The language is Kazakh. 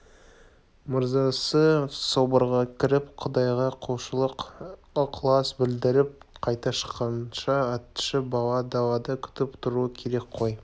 мырзасы соборға кіріп құдайға құлшылық ықылас білдіріп қайта шыққанша атшы бала далада күтіп тұруы керек қой